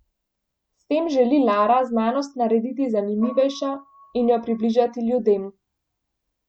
S tem želi Lara znanost narediti zanimivejšo in jo približati ljudem.